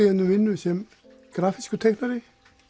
um vinnu sem grafískur teiknari